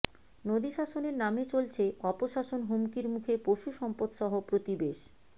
নদী শাসনের নামে চলছে অপশাসন হুমকির মুখে পশুসম্পদসহ প্রতিবেশ